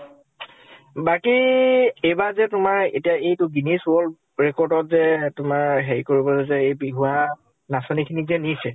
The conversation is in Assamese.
বাকী, এইবাৰ যে তোমাৰ এতিয়া এইটো guinness world record ত যে তোমাৰ হেৰি কৰিব যে এ বিহুৱা নাচনী খিনিক যে নিছে